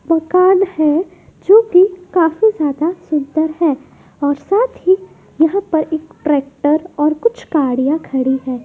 मकान है जो कि काफी ज्यादा सुंदर है और साथ ही यहां पर एक ट्रैक्टर और कुछ गाड़ियां खड़ी हैं।